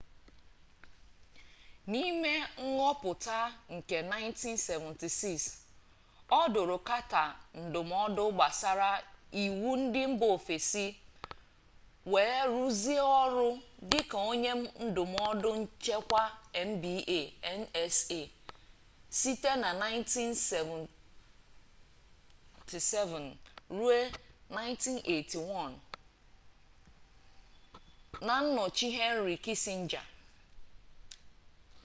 n’ime nghọpụta nke 1976 ọ dụrụ carter ndụmọdụ gbasara iwu ndị mba ofesi wee rụzie ọrụ dịka onye ndụmọdụ nchekwa mba nsa site na 1977 ruo 1981 na nnọchi henry kissinger